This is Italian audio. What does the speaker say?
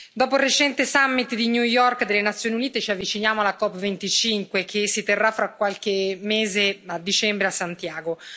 Dopo il recente summit di New York delle Nazioni Unite, ci avviciniamo alla COP25 che si terrà fra qualche mese, a dicembre, a Santiago.